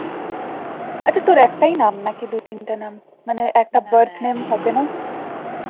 আচ্ছা তোর একটাই নাম না কি দু তিনটে নাম মানে একটা birth name থাকে না